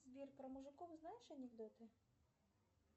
сбер про мужиков знаешь анекдоты